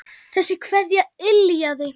Þessi kveðja yljaði.